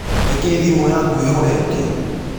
Nĩkĩ thimu yakũ ĩhoretĩo?